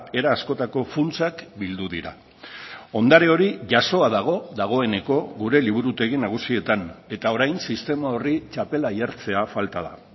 era askotako funtsak bildu dira ondare hori jasoa dago dagoeneko gure liburutegi nagusietan eta orain sistema horri txapela jartzea falta da